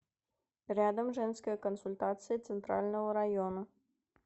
рядом женская консультация центрального района